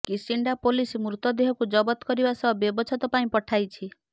Kisinda police ମୃତ ଦେହକୁ ଜବତ କରିବା ସହ ବ୍ୟବଚ୍ଛେଦ ପାଇଁ ପଠାଇଛି